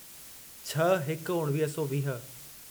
छह हिकु उणिवीह सौ वीह